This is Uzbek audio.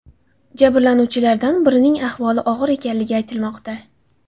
Jabrlanuvchilardan birining ahvoli og‘ir ekanligi aytilmoqda.